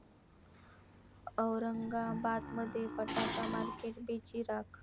औरंगाबादमध्ये फटाका मार्केट बेचिराख